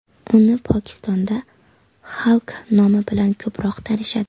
Uni Pokistonda Xalk nomi bilan ko‘proq tanishadi.